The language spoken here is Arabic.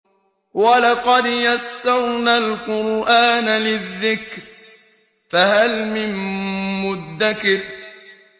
وَلَقَدْ يَسَّرْنَا الْقُرْآنَ لِلذِّكْرِ فَهَلْ مِن مُّدَّكِرٍ